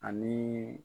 Ani